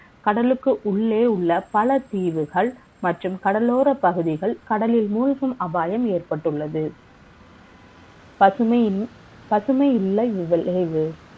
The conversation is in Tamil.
கடலுக்குள் உள்ளே உள்ள பல தீவுகள் மற்றும் கடலோரப் பகுதிகள் கடலில் மூழ்கும் அபாயம் ஏற்பட்டு உள்ளது. பசுமையின் பசுமை இல்ல நிகழ்வு